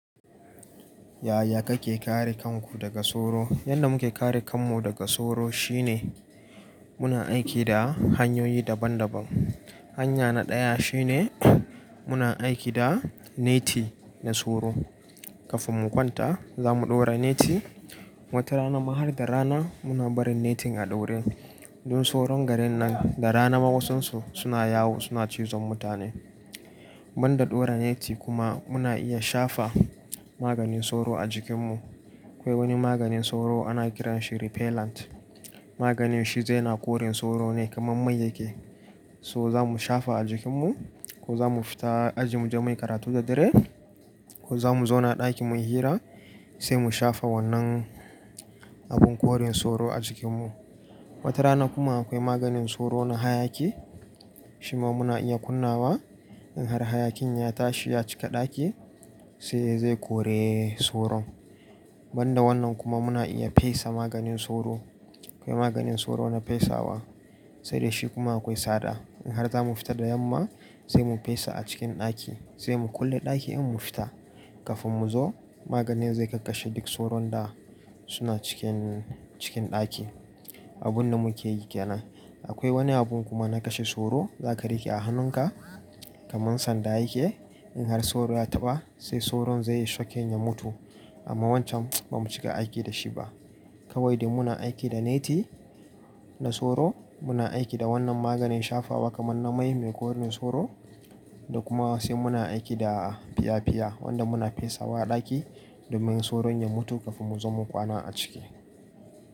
Yaya kake kare kanku daga soro? Yanda muke kare kanmu daga soro shine muna aiki da hanyoyi daban-daban. Hanya na ɗaya shine muna aiki da neti na soro. Kafin mu kwanta za mu ɗaura neti. Wata rana ma har da rana muna barin netin a ɗaure don soron garin nan da rana ma wasansu suna yawo suna cizon mutane. Ban da ɗora neti kuma muna iya shafa maganin soro a jikin mu. Akwai wani maganin soro ana kiran shi repellent. Maganin shi dai na kore soro ne kaman mai yake. So za mu shafa a jikin mu ko za mu fita aji muje mai karatu da dare ko za mu zauna ɗaki muyi hira sai mu shafa wannan abin korin soro a jikin mu. Wata rana kuma akwai maganin soro na hayaki shi ma muna iya kunna wa in har hayakin ya tashi ya cika ɗaki sai ya zai kore soron. Manda wannan kuma muna iya fesa maganin soro. Akwai maganin soro na fesawa sai da shi kuma akwai tsada. In har za mu fita da yamma sai mu fesa a cikin ɗaki sai mu kulle ɗaki in mun fita. Kafin mu zo maganin zai kakkashe duk soron da suna cikin, cikin ɗaki. Abun da muke yi ke nan. Akwai wani abun kuma na kashe soro za ka riƙe a hannunka kaman sanda yake. In har soro ya taɓa sai soron zai yi shocking ya mutu amma wancan ba mu cika aiki da shi ba. Kawai dai muna aiki da neti na soro, muna aiki da wannan maganin shafawa kaman na mai mai kore soro da kuma sai muna aiki da fiya-fiya wanda muna fesawa a ɗaki domin soron ya mutu kafin mu zo mu kwana a ciki.